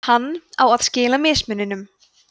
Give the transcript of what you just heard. hann á að skila mismuninum